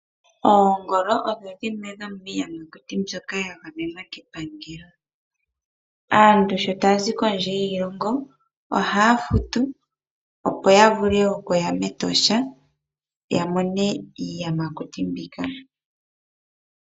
Oongolo odhodhimwe dhomiiyamakuti mbyoka ya gamenwa kepangelo. Aantu sho taya zi kondje yiilongo ohaya futu opo yavule okuya metosha ya mone iiyamakuti mbika.